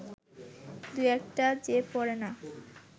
দু-একটা যে পড়ে না